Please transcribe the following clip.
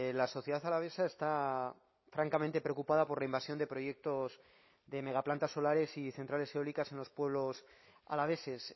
la sociedad alavesa está francamente preocupada por la invasión de proyectos de megaplantas solares y centrales eólicas en los pueblos alaveses